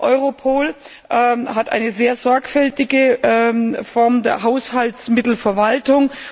EUROPOL hat eine sehr sorgfältige Form der Haushaltsmittelverwaltung.